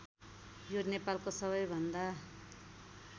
यो नेपालको सबैभन्दा